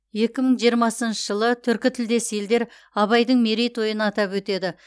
екі мың жиырмасыншы жылы түркі тілдес елдер абайдың мерейтойын атап өтеді